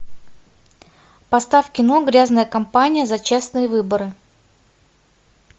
поставь кино грязная компания за честные выборы